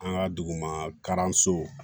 An ka dugu ma karanso